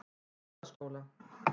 Hólaskóla